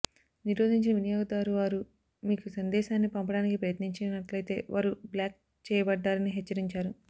నిరోధించిన వినియోగదారు వారు మీకు సందేశాన్ని పంపడానికి ప్రయత్నించినట్లయితే వారు బ్లాక్ చేయబడ్డారని హెచ్చరించారు